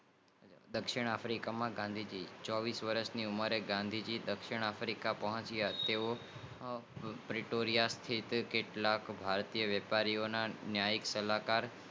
દક્ષિણ આફ્રિકા માં ગાંધી જી આ ચોવીસ વર્ષ ની ઉંમરે ગાંધીજી દક્ષિણ આફીકા પોહંચીયા તેઓ એપિટોરિયાથી કેટલાક ભારતીય વેપારીઓ નયન ના સલાહ કારક